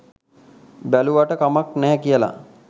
බැලුවාට කමක් නෑ කියලා